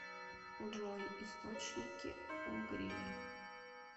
джой источники угрия